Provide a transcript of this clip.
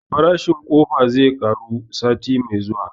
Farashin ƙofa zai ƙaru sati mai zuwa